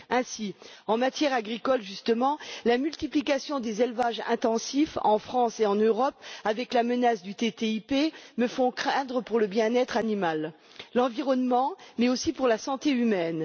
Ainsi, en matière agricole justement, la multiplication des élevages intensifs en France et en Europe conjuguée à la menace du TTIP me font craindre pour le bien être animal et l'environnement, mais aussi pour la santé humaine.